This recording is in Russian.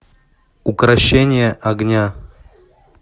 укрощение огня